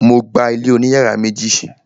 Mo gba ilé oní yàrá méjì.